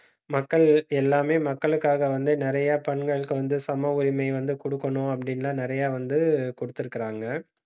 மக்கள் எல்லாமே மக்களுக்காக வந்து, நிறைய பெண்களுக்கு வந்து சம உரிமை வந்து குடுக்கணும் அப்டின்லாம் நெறைய வந்து குடுத்திருக்காங்க